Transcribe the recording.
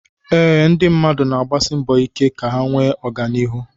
Eé, ndị mmadụ na-agbasi mbọ ike ka ha nwee oganihu